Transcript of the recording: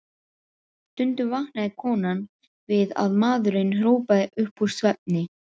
Stundum vaknaði konan við að maðurinn hrópaði upp úr svefni: